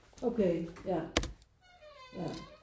Okay ja ja